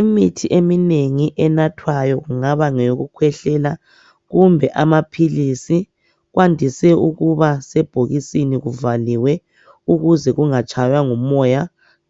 Imithi eminengi enathwayo ingaba ngeyokukhwehlela kumbe amaphilisi .Kwandise ukuba sebhokisini kubhaliwe ukuze kungatshaywa ngumoya .